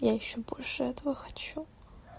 я ещё больше этого хочу